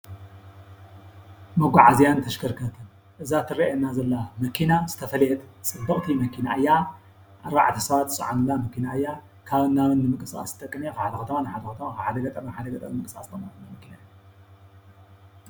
መጓዓዝያን ተሽከርክርትን እዛ ትረኣየና ዘላ መኪና ዝተፈለየት ፅብቅቲ መኪና እያ። ኣርባዕተ ሰባት ዝፀዓኑላ መኪና እያ ።ካብን ናብን ንምቅስቃስ ትጠቅም እያ ።ካብ ሓደ ኸተማ ናብ ሓደ ኸተማ ካብ ሓደ ገጠር ናብ ሓደ ገጠር ንምንቅስቃስ ትጠቅም መኪና እያ።